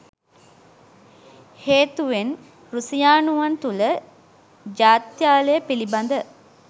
හේතුවෙන් රුසියානුවන් තුල ජාත්‍යාලය පිලිබඳ